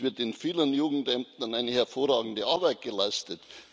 Es wird in vielen Jugendämtern eine hervorragende Arbeit geleistet.